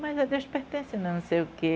Mas a Deus pertence, não sei o quê.